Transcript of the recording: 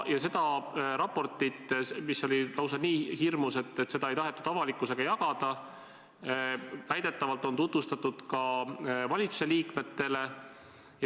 Ja seda raportit, mis oli lausa nii hirmus, et seda ei tahetud avalikkusega jagada, on väidetavalt tutvustatud ka valitsuse liikmetele.